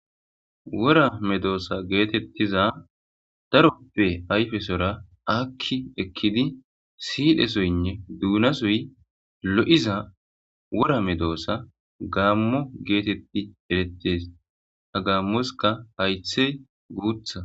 Wora medosa getetiza darope ayfe sohuwara aki ekidi sidhe soynne duna sohoy lo'iza wora medosa gamo geteti eretes ha gamoska hayte gutha.